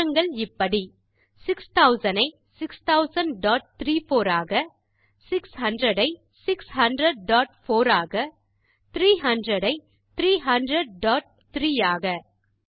மாற்றங்கள் இப்படி 6000 ஐ 600034 ஆக 600 ஐ 6004 ஆக 300 ஐ 3003 ஆக